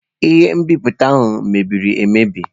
Ihe nbipute ahụ mebiri emebi.